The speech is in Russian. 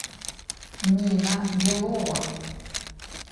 нина белова